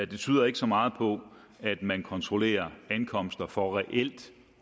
det tyder ikke så meget på at man kontrollerer ankomster for reelt